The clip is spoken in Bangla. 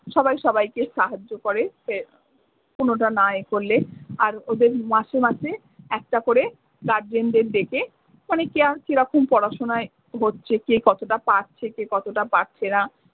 সবাই সবাইকে সাহায্য করে। সে কোনোটা না ইয়ে করলে। আর ওদের মাসে মাসে একটা করে guardian দের ডেকে মানে কে কীরকম পড়াশুনায় হচ্ছে কে কতটা পারছে, কে কতটা পারছে না।